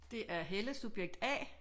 Det er Helle subjekt A